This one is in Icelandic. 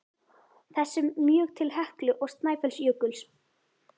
þessum mjög til Heklu og Snæfellsjökuls.